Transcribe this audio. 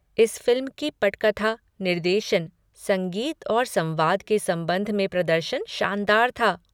इस फिल्म की पटकथा, निर्देशन, संगीत और संवाद के संबंध में प्रदर्शन शानदार था।